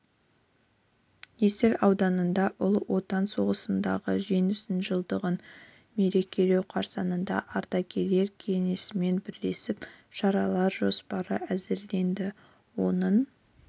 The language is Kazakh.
есіл ауданында ұлы отан соғысындағы жеңістің жылдығын мерекелеу қарсаңында ардагерлер кеңесімен бірлесіп шаралар жоспары әзірленді оның